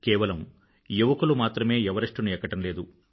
కేవలం యువకులు మాత్రమే ఎవరెస్టుని ఎక్కడంలేదు